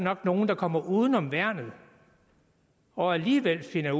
er nogle der kommer uden om værnet og alligevel finder